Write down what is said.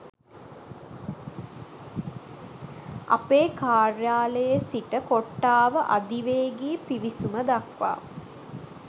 අපේ කාර්යාලයේ සිට කොට්ටාව අධිවේගී පිවිසුම දක්වා